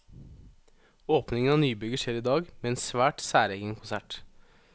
Åpningen av nybygget skjer i dag, med en svært særegen konsert.